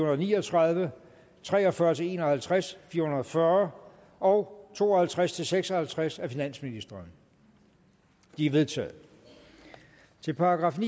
og ni og tredive tre og fyrre til en og halvtreds fire hundrede og fyrre og to og halvtreds til seks og halvtreds af finansministeren de er vedtaget til §